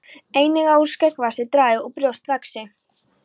Einnig að úr skeggvexti dragi og brjóst vaxi.